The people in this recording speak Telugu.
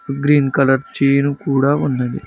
గ్రీన్ కలర్ చైను కూడా ఉన్నది.